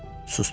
Sustum.